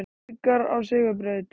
Haukar á sigurbraut